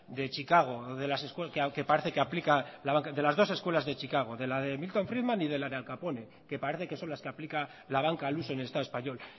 de chicago que parece que aplica la banca de las dos escuelas de chicago de la de milton friedman y de la de al capone que parece que son las que aplican la banca al uso en el estado español